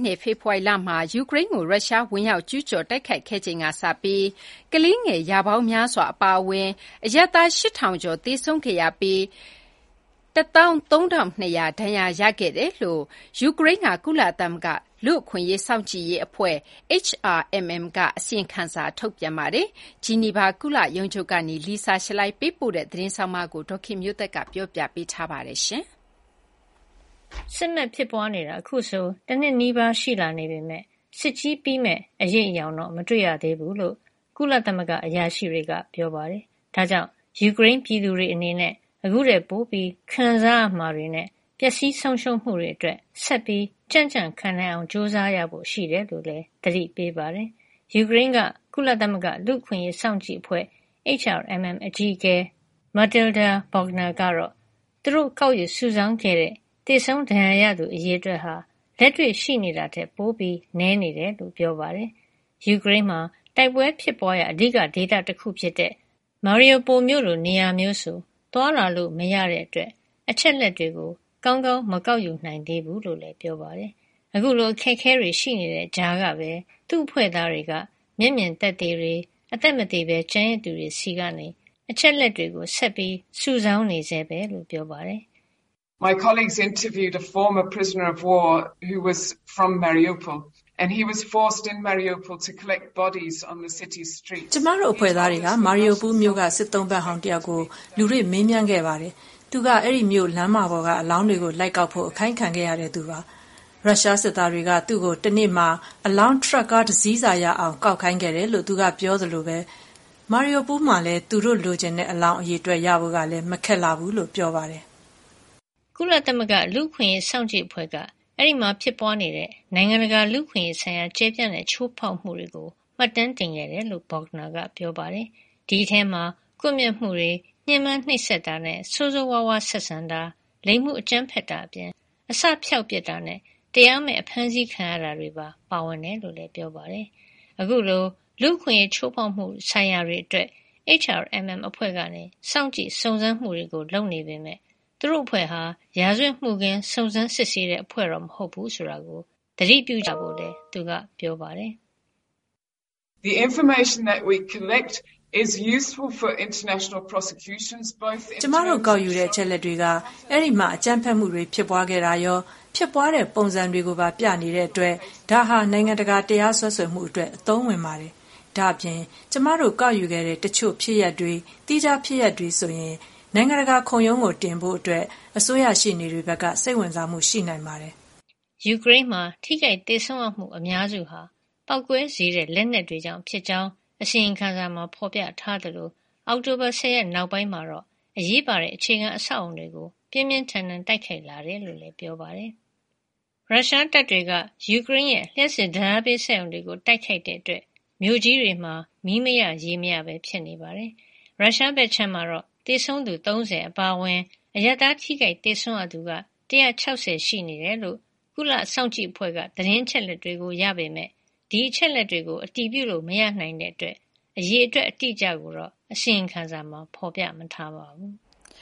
နှစ်က ဖေဖေါ်ဝါရီမှာ ယူကရိန်းကိုရုရှားကဝင်ရောက်ကျူးကျော် တိုက်ခိုက်ခဲ့ချိန်ကစပြီး ကလေးငယ်ရာပေါင်းများစွာအပါအဝင် အရပ်သား ၈,၀၀၀ ကျော်သေဆုံးခဲ့ရပြီး ၁၃,၂၀၀ ဒဏ်ရာရခဲ့တယ်လို့ ယူကရိန်းက ကုလသမဂ္ဂ လူ့အခွင့်အရေးစောင့်ကြည့်အဖွဲ့ HRMM က အစီရင်ခံစာ ထုတ်ပြန်ပါတယ်။ ဂျနီဗာကုလရုံးချုပ်က Lisa Schlein ပေးပို့တဲ့ သတင်းကို ဒေါ်ခင်မျိုးသက်က တင်ပြပေးထားပါတယ်။ စစ်မက်ဖြစ်ပွါးနေတာ အခုဆို တနှစ်နီးပါးရှိလာနေပေမယ့် စစ်ကြီးပြီးမယ့်အရိပ်အယောင် မတွေ့ရသေးဘူးလို့ ကုလသမဂ္ဂအရာရှိတွေက ပြောပါတယ်။ ဒါကြောင့် ယူကရိန်းပြည်သူတွေအနေနဲ့ အခုထက်ပို ခံစားရမှာတွေနဲ့ ပျက်စီးဆုံးရှုံးမှုတွေအတွက် ဆက်ပြီး ကြံ့ကြံ့ခံနိုင်အောင် ကြိုးစားရဖို့ရှိတယ်လို့လည်း သတိပေးပါတယ်။ ယူကရိန်းက ကုလသမဂ္ဂလူ့အခွင့်ရေးစောင့်ကြည့် အဖွဲ့ HRMM အကြီးအကဲ Matilda Bogner ကတော့ သူတို့ ကောက်ယူစုဆောင်းခဲ့တဲ့ သေဆုံးဒဏ်ရာရသူ အရေအတွက်ဟာ လက်တွေ့ရှိနေတာထက် ပိုနည်းနေတယ်လို့ပြောပါတယ်။ ယူကရိန်းမှာ တိုက်ပွဲဖြစ်ပွါးရာ အဓိကဒေသတခုဖြစ်တဲ့ Mariupol မြို့လိုနေရာမျိုးဆိုသွားလာလို့ မရတဲ့အတွက် အချက်လက်တွေကိုကောင်းကောင်း မကောက်ယူနိုင်သေးဘူးလို့လည်း ပြောပါတယ်။ အခုလို အခက်အခဲတွေ ရှိနေတဲ့ကြားကပဲ သူ့အဖွဲ့သားတွေက မျက်မြင်သက်သေတွေ၊ အသက်မသေကျန်ရစ်သူတွေဆီကနေ အချက်လက်တွေ ဆက်ပြီး စုဆောင်းနေဆဲပဲလို့လည်း ပြောပါတယ်။ “ကျမအဖွဲ့သားတွေက Mariupol က စစ်သုံ့ပန်းဟောင်းတယောက်ကို လူတွေ့မေးမြန်းခဲ့ပါတယ်။ သူက အဲဒီမြို့လမ်းမပေါ်ကအလောင်းတွေကို လိုက်ကောက်ဖို့ အခိုင်းခံရတဲ့ သူပါ။ ရုရှားစစ်သားတွေက သူ့ကို တနေ့မှာ အလောင်း - ထရပ်ကား တစီးစာရအောင် ကောက်ခိုင်းခဲ့တယ်လို့ သူက ပြောသလို Mariupol မှာကလည်း သူတို့ လိုချင်တဲ့ အလောင်း အရေအတွက်ရဖို့ကလည်း မခက်လှဘူးလို့ပါ ပြောပါတယ်။” ကုလလူ့အခွင့်ရေးစောင့်ကြည့်အဖွဲ့က အဲဒီမှာ ဖြစ်ပွါးနေတဲ့ နိုင်ငံတကာလူ့အခွင့်ရေးဆိုင်ရာ ကျယ်ပြန့်တဲ့ချိုးဖေါက်မှုတွေကို မှတ်တမ်းတင်ခဲ့တယ်လို့ Bogner က ပြောပါတယ်။ ဒီအထဲမှာ ကွပ်မျက်မှုတွေ၊ ညှင်းပမ်းနှိပ်စက်တာနဲ့ ဆိုးဆိုးဝါးဝါး ဆက်ဆံတာ၊ လိင်မှုအကြမ်းဖက်တာအပြင် အစဖျောက်ပစ်တာနဲ့ တရားမဲ့အဖမ်းဆီးခံရတာတွေ ပါဝင်တယ်လို့လည်း ပြောပါတယ်။ အခုလို လူ့အခွင့်အရေးချိုးဖေါက်မှုဆိုင်ရာတွေအတွက် HRMM အဖွဲ့က စောင့်ကြည့် စုံစမ်းမှုတွေလုပ်ပေမယ့် သူတို့အဖွဲ့ဟာ ရာဇဝတ်မှုခင်း စုံစမ်းစစ်ဆေးတဲ့အဖွဲ့ မဟုတ်ဖူးဆိုတာကိုတော့ သတိပြုကြဖို့လည်း သူက ပြောပါတယ်။ “ကျမတို့ ကောက်ယူတဲ့ အချက်အလက်တွေက အဲဒီမှာ အကြမ်းဖက်မှုတွေ ဖြစ်ပွါးခဲ့တာရော၊ ဖြစ်ပွါးတဲ့ ပုံစံတွေကိုပါ ပြနေတာကြောင့် ဒါဟာ နိုင်ငံတကာ တရားစွဲဆိုမှုတွေ အတွက် အသုံးဝင်ပါတယ်။ ဒါ့ပြင် ကျမတို့ ကောက်ယူခဲ့တဲ့ တချို့ ဖြစ်ရပ်တွေ၊ သီးခြားဖြစ်ရပ်တွေဆို နိုင်ငံတကာခုံရုံးတွေကို တင်ဖို့ အတွက် အစိုးရရှေ့နေတွေဘက်က စိတ်ဝင်စားမှု ရှိနိုင်ပါတယ်။” ယူကရိန်းမှာ ထိခိုက်သေဆုံးရမှု အများစုဟာ ပေါက်ကွဲစေတတ်တဲ့ လက်နက်တွေကြောင့်ဖြစ်ကြောင်း အစီရင်ခံစာမှာ ဖေါ်ပြထားသလို အောက်တိုဘာ ၁၀ ရက် နောက်ပိုင်းမှာတော့ အရေးပါတဲ့ အခြေခံအဆောက်အအုံတွေကို ပြင်းပြင်းထန်ထန် တိုက်ခိုက်လာတယ်လို့လည်း ပြောပါတယ်။ ရုရှားတပ်တွေက ယူကရိန်းရဲ့ လျှပ်စစ်ဓါတ်အားပေးစက်ရုံတွေကို တိုက်ခိုက်တာကြောင့် မြို့ကြီးတွေမှာ မီးမရ ရေမရဘဲဖြစ်နေပါတယ်။ ရုရှားဘက်ခြမ်းမှာတော့ သေဆုံးသူ ၃၀ အပါအဝင် အရပ်သားထိခိုက်သေဆုံးရသူ ၁၆၀ ရှိနေတယ်လို့ ကုလစောင့်ကြည့်အဖွဲ့က သတင်းအချက်အလက်တွေရခဲ့ပေမယ့် ဒီအချက်အလက်တွေကို အတည်ပြုလို့မရနိုင်တာကြောင့် အရေအတွက်အတိအကျကိုတော့ အစီရင်ခံစာမှာ ဖေါ်ပြထားမထားပါဘူး။